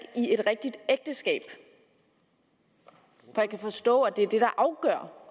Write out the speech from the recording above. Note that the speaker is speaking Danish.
i et rigtigt ægteskab for jeg kan forstå at det er det der afgør